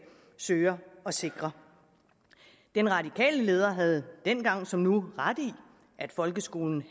søger at sikre den radikale leder havde dengang som nu ret i at folkeskolen